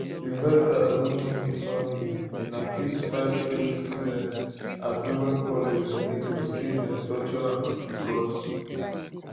sylvester oromoni family bin accuse five fellow students at dowen college in lagos say dem torture am becos